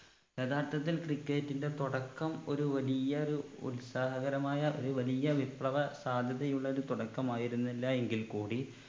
യഥാർത്ഥത്തിൽ cricket ന്റെ തുടക്കം ഒരു വലിയ ഒരു ഉത്സാഹകരമായ ഒരു വലിയ വിപ്ലവ സാധ്യതയുള്ളൊരു തുടക്കമായിരുന്നില്ല എങ്കിൽ കൂടി